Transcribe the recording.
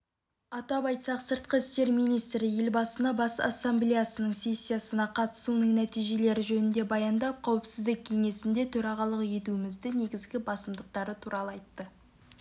атап айтсақ сыртқы істер министрі елбасына бас ассамблеясының сессиясына қатысуының нәтижелері жөнінде баяндап қауіпсіздік кеңесінде төрағалық етуіміздің негізгі басымдықтары туралы айтты